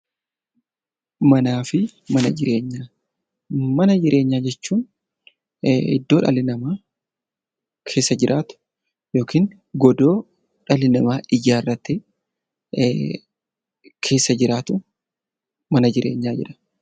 Manaa fi mana jireenyaa Mana jireenyaa jechuun iddoo dhalli namaa keessa jiraatu yookiin godoo dhalli namaa ijaarratee keessa jiraatu 'Mana jireenyaa' jedhama.